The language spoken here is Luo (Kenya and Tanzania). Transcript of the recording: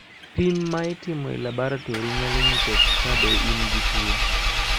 pim ma itimo e laboratori nyalo nyiso ka be in gi tuo